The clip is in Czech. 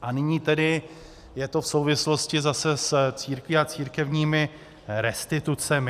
A nyní tedy je to v souvislosti zase s církví a církevními restitucemi.